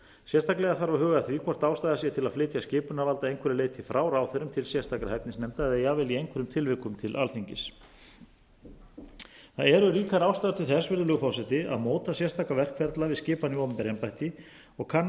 sérstaklega þarf að huga að því hvort ástæða sé til að flytja skipunarvald að einhverju leyti frá ráðherrum til sérstakra hæfnisnefnda eða jafnvel í einhverjum tilvikum til alþingis það eru ríkar ástæður til þess virðulegur forseti að móta sérstaka verkferla við skipan í opinber embætti og kanna